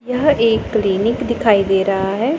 यह एक क्लीनिक दिखाई दे रहा है।